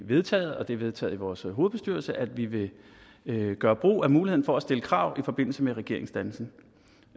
vedtaget det er vedtaget i vores hovedbestyrelse at vi vil gøre brug af muligheden for at stille krav i forbindelse med regeringsdannelsen